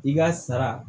I ka sara